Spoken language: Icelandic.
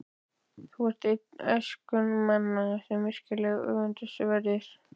Þú ert einn þeirra æskumanna, sem virkilega eru öfundsverðir.